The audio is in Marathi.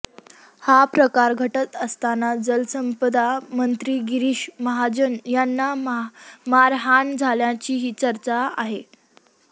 हा प्रकार घडत असताना जलसंपदा मंत्री गिरीश माहजन यांना मारहाण झाल्याचीही चर्चा आहे